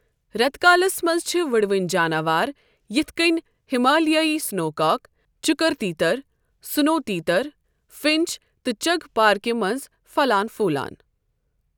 رٮ۪تہٕ کٲلِس منٛز چھِ وُڑوٕنۍ جاناوار یِتھ کٔنۍ ہمالیٲئی سنوکاک، چُکر تیتر، سنو تیتر، فنچ تہٕ چغ پارکہِ منٛز پھلان پھولان۔